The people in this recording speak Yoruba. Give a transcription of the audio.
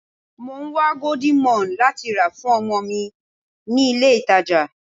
Mò ń wá golden morn láti rà fún ọmọ mi ní ilé ìtàjà.